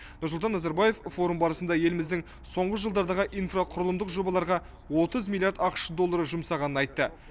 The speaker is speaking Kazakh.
нұрсұлтан назарбаев форум барысында еліміздің соңғы жылдардағы инфрақұқрылымдық жобаларға отыз миллиард ақш доллары жұмсағанын айтты